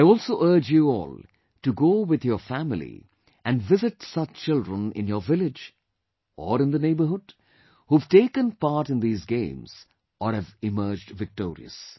I also urge you all to go with your family and visit such children in your village, or in the neighbourhood, who have taken part in these games or have emerged victorious